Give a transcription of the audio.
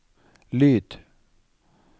lyd